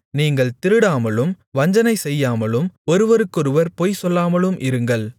நீங்கள் திருடாமலும் வஞ்சனைசெய்யாமலும் ஒருவருக்கொருவர் பொய் சொல்லாமலும் இருங்கள்